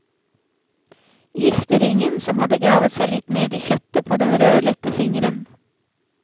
Gifteringen som hadde gravet seg litt ned i kjøttet på den rødlette fingeren.